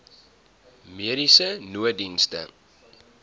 mediese nooddienste